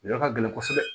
Yɔrɔ ka gɛlɛn kosɛbɛ